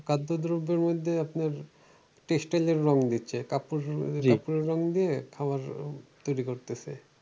খাদ্যদ্রব্যের মধ্যে আপনার test এর যে রং দিচ্ছে কাপড়ের কাপড়ের রং দিয়ে খাবার তৈরী করতেছে।